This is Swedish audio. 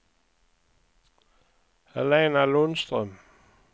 Helena Lundström